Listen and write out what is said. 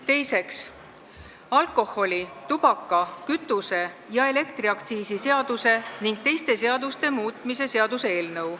Teiseks, alkoholi-, tubaka-, kütuse- ja elektriaktsiisi seaduse ning teiste seaduste muutmise seaduse eelnõu.